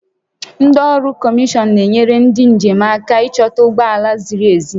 Ndị ọrụ kọmishọn na-enyere ndị njem aka ịchọta ụgbọ ala ziri ezi